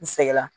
N sɛgɛnna